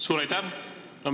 Suur aitäh!